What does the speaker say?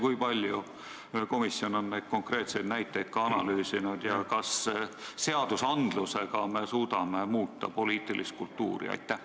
Kui palju komisjon on konkreetseid näiteid analüüsinud ja kas me seadusaktidega suudame muuta poliitilist kultuuri?